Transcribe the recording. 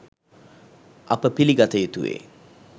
අප පිළිගත යුතුවේ